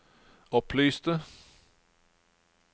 opplyste